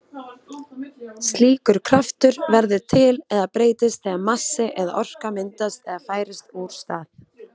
Slíkur kraftur verður til eða breytist þegar massi eða orka myndast eða færist úr stað.